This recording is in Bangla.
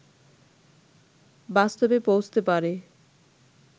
বাস্তবে পৌঁছতে পারে